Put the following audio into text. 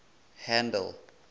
handle